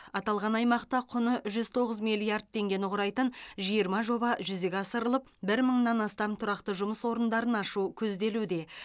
аталған аймақта құны жүз тоғыз миллард теңгені құрайтын жиырма жоба жүзеге асырылып бір мыңнан астам тұрақты жұмыс орындары ашу көзделуде